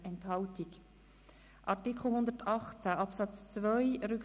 SP-JUSOPSA/Wüthrich zu Artikel 118 Absatz 2 ab.